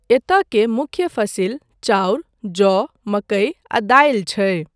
एतय के मुख्य फसिल चाउर, जौ, मकई आ दालि छै।